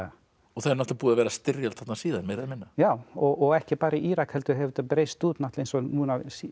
og náttúrulega búin að vera þarna styrjöld síðan meira eða minna já og ekki bara í Írak heldur hefur þetta breiðst út eins og núna